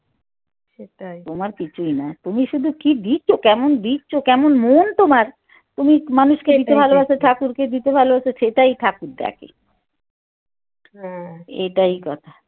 তোমার কিছুই না তুমি শুধু কি দিচ্ছ কেমন দিচ্ছ কেমন মন তোমার তুমি মানুষকে ভালোবাস ঠাকুরকে দিতে ভালোবাস সেটাই ঠাকুর দেখে এটাই কথা।